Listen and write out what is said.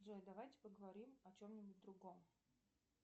джой давайте поговорим о чем нибудь другом